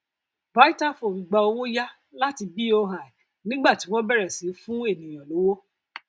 vitafoam gba owó yá láti boi nígbà tí wọn bẹrẹ sí í fún ènìyàn lówó